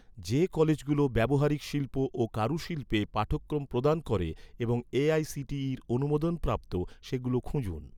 যে কলেজগুলো, ব্যবহারিক শিল্প ও কারুশিল্পে পাঠক্রম প্রদান করে এবং এ.আই.সি.টি.ইর অনুমোদনপ্রাপ্ত, সেগুলো খুঁজুন